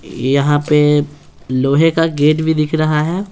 यहाँ पे लोहे का गेट भी दिख रहा है।